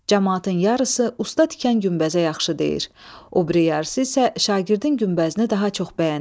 Camaatın yarısı usta tikən günbəzə yaxşı deyir, o biri yarısı isə şagirdin günbəzini daha çox bəyənir.